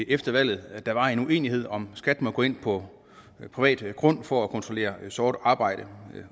efter valget var en uenighed om hvorvidt skat måtte gå ind på privat grund for at kontrollere sort arbejde